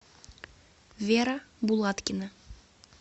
вера булаткина